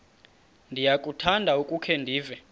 ndiyakuthanda ukukhe ndive